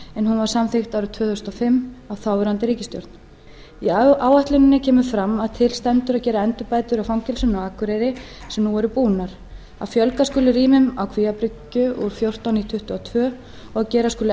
hún var samþykkt árið tvö þúsund og fimm af þáverandi ríkisstjórn í áætluninni kemur fram að til stendur að gera endurbætur á fangelsinu á akureyri sem nú eru búnar að fjölga skuli rýmum á kvíabryggju úr fjórtán í tuttugu og tvö og að gera skuli